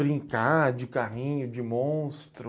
Brincar de carrinho, de monstro...